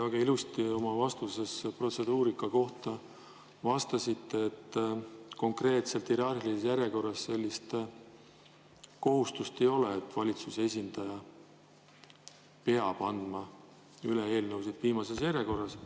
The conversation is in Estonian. Te väga ilusti oma vastuses protseduurika kohta vastasite, et konkreetselt hierarhilises järjekorras sellist kohustust ei ole, et valitsuse esindaja peab andma üle eelnõusid viimases järjekorras.